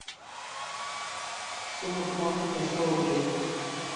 сумма пополнения сто рублей